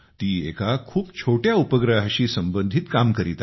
ती एका खूप छोट्या उपग्रहाशी संबंधित काम करीत आहे